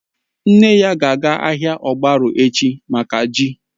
Nne ya ga-aga ahịa ogbaru echi mákà ji